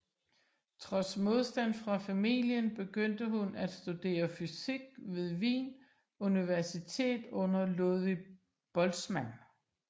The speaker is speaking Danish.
Trods modstand fra familien begyndte hun at studere fysik ved Wien Universitet under Ludwig Boltzmann